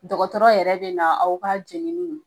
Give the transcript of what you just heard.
Dɔgɔtɔrɔ yɛrɛ de na aw ka jɛnini